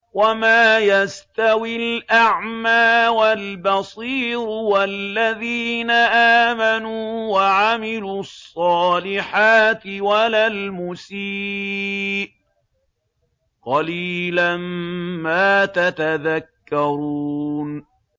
وَمَا يَسْتَوِي الْأَعْمَىٰ وَالْبَصِيرُ وَالَّذِينَ آمَنُوا وَعَمِلُوا الصَّالِحَاتِ وَلَا الْمُسِيءُ ۚ قَلِيلًا مَّا تَتَذَكَّرُونَ